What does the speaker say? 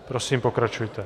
Prosím, pokračujte.